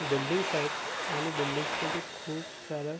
buildings आहेत आणि buildings मध्ये खुप सारा--